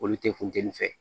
Olu tɛ funteni fɛ